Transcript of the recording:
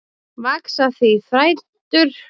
Vaxa því þrætur